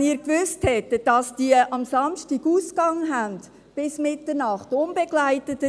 wenn Sie gewusst hätten, dass diese am Samstag unbegleiteten Ausgang bis Mitternacht haben.